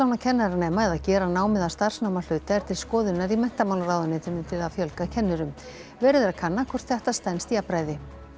kennaranema eða gera námið að starfsnámi að hluta er til skoðunar í menntamálaráðuneytinu til að fjölga kennurum verið er að kanna hvort þetta stenst jafnræði